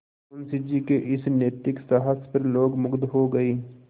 मुंशी जी के इस नैतिक साहस पर लोग मुगध हो गए